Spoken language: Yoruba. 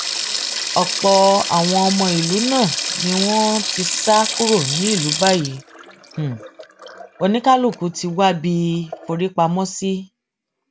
ọpọ àwọn ọmọ ìlú náà ni wọn ti sá kúrò nílùú báyìí oníkálukú ti wábi forí pamọ sí